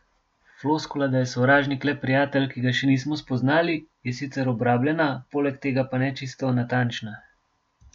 Floskula, da je sovražnik le prijatelj, ki ga še nismo spoznali, je sicer obrabljena, poleg tega pa ne čisto natančna.